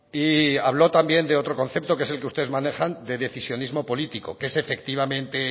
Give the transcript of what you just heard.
y habló también de otro concepto que es el que ustedes manejan de decisionismo político que es efectivamente